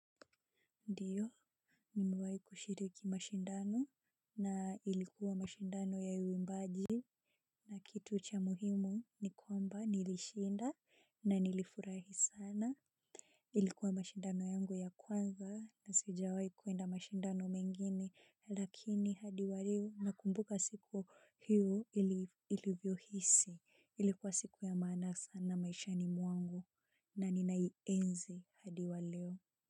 Ndiyo. Nimewai kushiriki mashindano na ilikuwa mashindano ya uimbaji. Na kitu cha muhimu ni kwamba nilishinda na nilifurahi sana. Ilikuwa mashindano yangu ya kwanza na sijawai kuenda mashindano mengine lakini hadi wa leo nakumbuka siku hiyo ilivyohisi ilikuwa siku ya maana sana maishani mwangu na ninaienzi hadi wa leo.